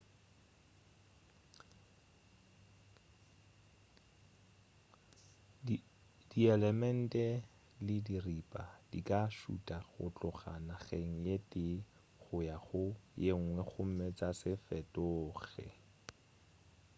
dielement le diripa di ka šuta go tloga nageng ye tee go ya go yenngwe gomme tša se fetoge